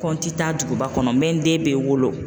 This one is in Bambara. Ko n ti taa duguba kɔnɔ n bɛ n den bɛɛ wolo.